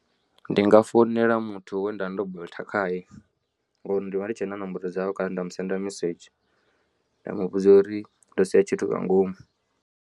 Ndi nga foinela muthu we nda vha ndo bolt khae ngori ndivha ndi tshe na nomboro dzawe kana nda musendela mesedzhi nda muvhudza uri ndo sia tshithu nga ngomu.